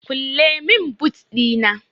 kulle min boot Dina!